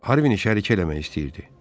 Harvin iş şəriki eləmək istəyirdi.